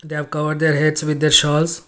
they have covered their heads with their shalves.